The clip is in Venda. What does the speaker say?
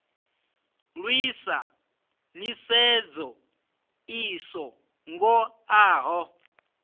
lwisa nḓisedzo i so ngoḓaho